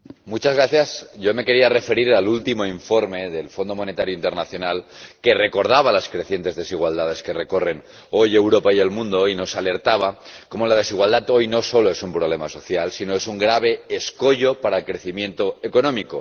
Señora Presidenta, yo me quería referir al último informe del Fondo Monetario Internacional, que recordaba las crecientes desigualdades que recorren hoy Europa y el mundo y nos alertaba de que la desigualdad hoy no solo es un problema social, sino que es un grave escollo para el crecimiento económico.